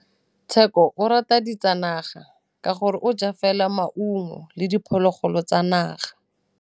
Tshekô o rata ditsanaga ka gore o ja fela maungo le diphologolo tsa naga.